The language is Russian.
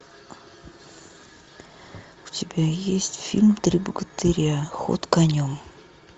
у тебя есть фильм три богатыря ход конем